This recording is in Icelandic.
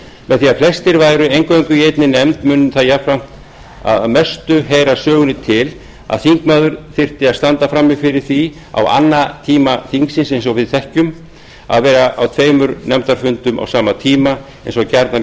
með því að flestir væru eingöngu í einni nefnd mundi það jafnframt að mestu heyra sögunni til að þingmaður þyrfti að standa frammi fyrir því á annatíma þingsins að vera á tveimur nefndafundum á sama tíma eins og gjarnan